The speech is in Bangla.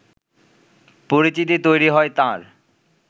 পরিচিতি তৈরি হয় তাঁর